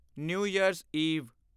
new Year's Eve